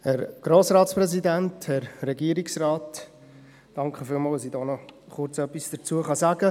Vielen Dank, dass ich dazu kurz noch etwas sagen darf.